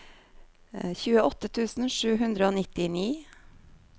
tjueåtte tusen sju hundre og nittini